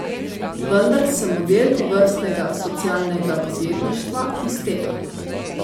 Vendar se model tovrstnega socialnega podjetništva izteka.